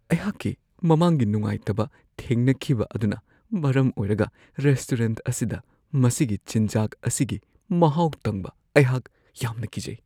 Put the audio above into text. ꯑꯩꯍꯥꯛꯀꯤ ꯃꯃꯥꯡꯒꯤ ꯅꯨꯡꯉꯥꯏꯇꯕ ꯊꯦꯡꯅꯈꯤꯕ ꯑꯗꯨꯅ ꯃꯔꯝ ꯑꯣꯏꯔꯒ ꯔꯦꯁꯇꯨꯔꯦꯟꯠ ꯑꯁꯤꯗ ꯃꯁꯤꯒꯤ ꯆꯤꯟꯖꯥꯛ ꯑꯁꯤꯒꯤ ꯃꯍꯥꯎ ꯇꯪꯕ ꯑꯩꯍꯥꯛ ꯌꯥꯝꯅ ꯀꯤꯖꯩ꯫